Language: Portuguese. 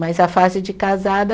Mas a fase de casada